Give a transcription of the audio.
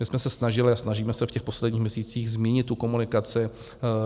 My jsem se snažili a snažíme se v těch posledních měsících změnit tu komunikaci.